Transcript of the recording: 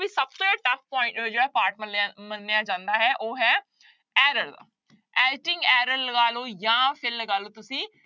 ਸਭ ਤੋਂ ਜ਼ਿਆਦਾ tough point ਜਿਹੜਾ part ਮੰਨਿਆ ਮੰਨਿਆ ਜਾਂਦਾ ਹੈ ਉਹ ਹੈ error error ਲਗਾ ਲਓ ਜਾਂ ਫਿਰ ਲਗਾ ਲਓ ਤੁਸੀਂ